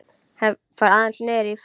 Ég fór aðeins niðrí fjöru.